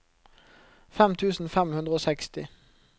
fem tusen fem hundre og seksti